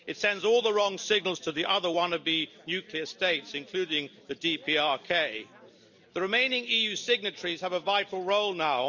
It sends all the wrong signals to the other wannabe nuclear states, including the DPRK. The remaining EU signatories have a vital role now.